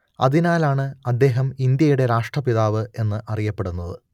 അതിനാലാണ് അദ്ദേഹം ഇന്ത്യയുടെ രാഷ്ട്രപിതാവ് എന്ന് അറിയപ്പെടുന്നത്